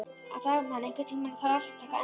Dagmann, einhvern tímann þarf allt að taka enda.